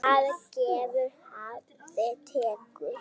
Hafið gefur, hafið tekur.